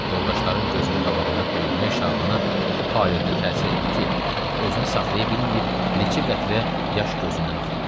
Yoldaşların gözünün qabağında döyülmək Şabana o payədə təsir etdi ki, özünü saxlaya bilməyib neçə qətrə yaş gözündən axıtdı.